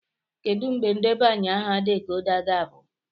Kedu mgbe ndebanye aha decoder ga-agwụ?